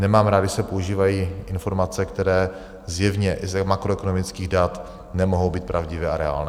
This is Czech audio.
Nemám rád, když se používají informace, které zjevně i z makroekonomických dat nemohou být pravdivé a reálné.